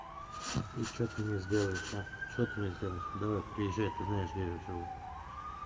и что ты мне сделаешь а что ты мне сделаешь давай приезжай ты знаешь где я живу